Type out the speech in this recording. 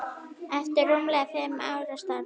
eftir rúmlega fimm ára starf.